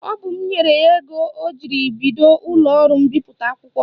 Ọ bụ m nyere ya ego ọ jiri bido ụlọọrụ mbipụta akwụkwọ